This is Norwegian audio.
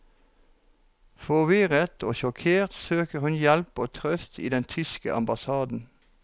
Forvirret og sjokkert søker hun hjelp og trøst i den tyske ambassaden.